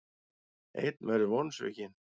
Einn verður vonsvikinn.